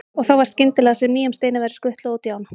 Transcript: Og þá var skyndilega sem nýjum steini væri skutlað út í ána.